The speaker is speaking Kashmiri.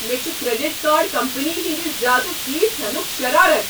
مےٚ چھُ کریڈٹ کارڈ کمپنی ہٕنٛدِ زیادٕ فیس ہینُک شرارت۔